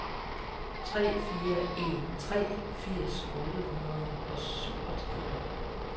tre fire en tre firs otte hundrede og syvogtredive